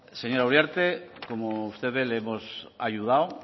señora uriarte como usted ve le hemos ayudado